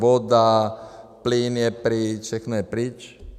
Voda, plyn je pryč, všechno je pryč.